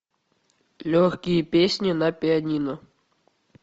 легкие песни на пианино